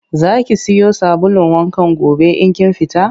Za ki siyo sabulun wankan gobe in kin fita?